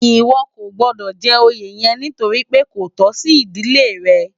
Iwò kó gbòdò jè óyé yèn nitóri pé kó tò si idilé rè